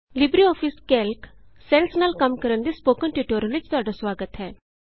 LibreOffice Calc cells ਨਾਲ ਕੰਮ ਕਰਨ ਦੇ ਸਪੋਕਨ ਟਿਯੂਟੋਰਿਅਲ ਵਿਚ ਤੁਹਾਡਾ ਸੁਆਗਤ ਹੈ